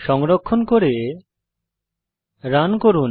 সংরক্ষণ করে রান করুন